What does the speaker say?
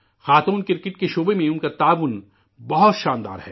خاتون کرکٹ کے شعبہ میں ان کی خدمات بہت شاندار ہے